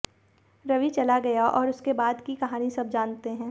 रवि चला गया और उसके बाद की कहानी सब जानते हैं